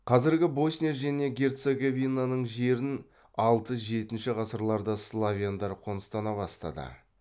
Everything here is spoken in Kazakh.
қазіргі босния және герцеговинаның жерін алты жетінші ғасырларда славяндар қоныстана бастады